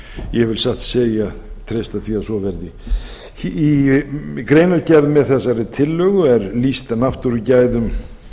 ég vil satt að segja treysta því að svo verði í greinargerð með þessari tillögu er lýst náttúrugæðum